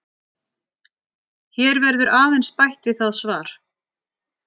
Hér verður aðeins bætt við það svar.